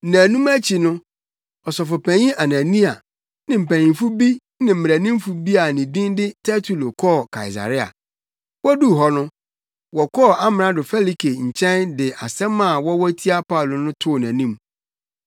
Nnaanum akyi no, Ɔsɔfopanyin Anania ne mpanyimfo bi ne mmaranimfo bi a ne din de Tertulo kɔɔ Kaesarea. Woduu hɔ no, wɔkɔɔ Amrado Felike nkyɛn de nsɛm a wɔwɔ tia Paulo no too nʼanim.